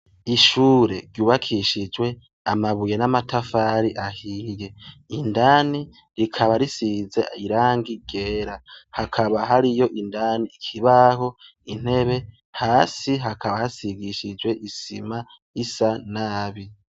Ishure ryubakishijwe amabuye n'amatafari ahiye, indani hasizweyo irangi ryera, hakaba hariyo inandani ikibaho, intebe, hasi hakaba hasigishijwe isima risa nabi.